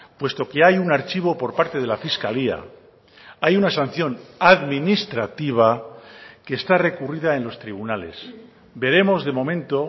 puesto que hay un archivo por parte de la fiscalía hay una sanción administrativa que está recurrida en los tribunales veremos de momento